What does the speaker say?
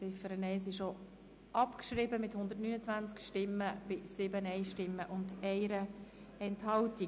Die Ziffer 1 ist abgeschrieben mit 129 Ja- zu 7 Nein-Stimmen bei 1 Enthaltung.